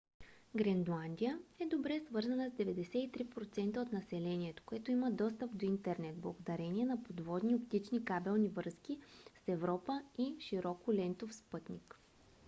гренландия е добре свързана с 93% от населението което има достъп до интернет благодарение на подводни оптични кабелни връзки с европа и широколентов спътник